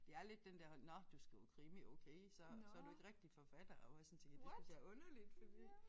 Det er lidt den der holdning nåh du skriver krimi okay så så du ikke rigtig forfatter og hvor jeg sådan tænker det synes jeg er underligt fordi